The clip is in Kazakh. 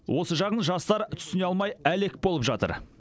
осы жағын жастар түсіне алмай әлек болып жатыр